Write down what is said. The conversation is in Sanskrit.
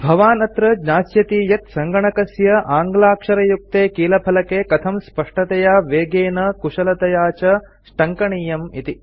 भवान् अत्र ज्ञास्यति यत् सङ्गणकस्य आङ्ग्लाक्षरयुक्ते कीलफलके कथं स्पष्टतया वेगेन कुशलतया च टङ्कनीयम् इति